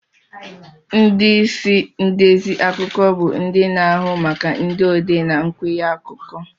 Ndị isi ndezi akụkọ bụ ndị na-ahụ maka ndị odee na nkwenye akụkọ.